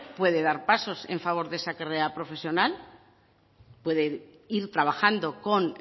puede dar pasos en favor de esa carrera profesional puede ir trabajando con